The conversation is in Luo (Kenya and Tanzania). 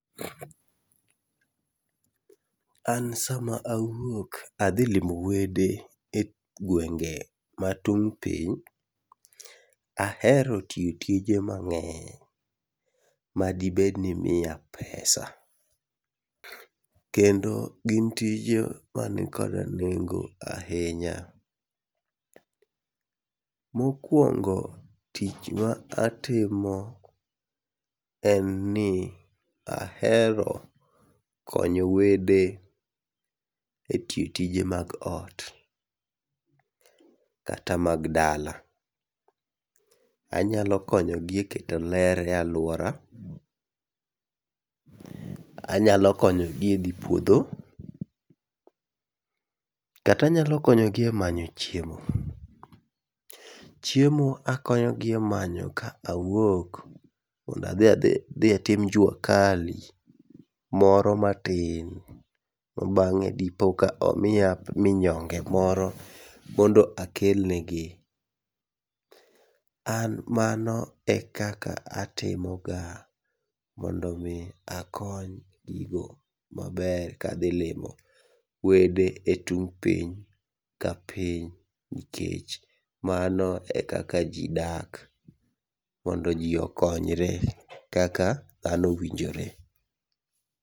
An sama awuok adhi limo wede e gwenge ma tung' piny, ahero tiyo tije mang'eny madibed ni miya pesa. Kendo gin tije manikoda nengo ahinya, mokwongo tich ma atimo en ni ahero konyo wede e tiyo tije mag ot kata mag dala. Anyalo konyogi e keto ler e alwora, anyalo konyogi e dhi puodho, kata anyalo konyogi e manyo chiemo. Chiemo akonyogi e manyo ka awuok mondadhi atim jua kali moro matin, ma bang'e dipo ka omiya minyonge moro mondo akelnegi. An mano e kaka atimoga mondo mi akony gigo maber kadhilimo wede e tung' piny ka piny nikech mano e kaka ji dak. Mondo ji okonyre kaka dhano winjore.